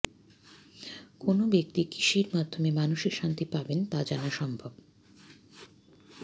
কোন ব্যক্তি কীসের মাধ্যমে মানসিক শান্তি পাবেন তা জানা সম্ভব